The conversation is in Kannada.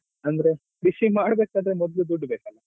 ಅಂದ್ರೆ ಕೃಷಿ ಮಾಡ್ಬೇಕಾದ್ರೆ ಮೊದ್ಲು ದುಡ್ಡು ಬೇಕಲ್ಲ?